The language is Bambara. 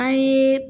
An ye